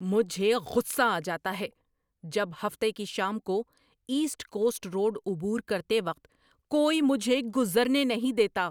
مجھے غصہ آ جاتا ہے جب ہفتہ کی شام کو ایسٹ کوسٹ روڈ عبور کرتے وقت کوئی مجھے گزرنے نہیں دیتا۔